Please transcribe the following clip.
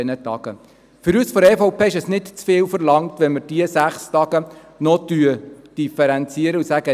Für uns von der EVP-Fraktion ist es nicht zu viel verlangt, wenn wir diese sechs Tage noch differenzieren und sagen: